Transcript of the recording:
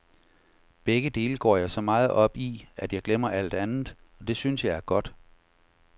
Begge dele går jeg så meget op i, at jeg glemmer alt andet, og det synes jeg er godt.